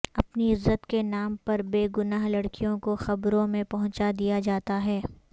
اپنی عزت کے نام پر بے گناہ لڑکیوں کو قبروں میں پہنچا دیا جاتا ہے